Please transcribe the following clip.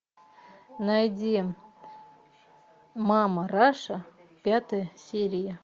найди мама раша пятая серия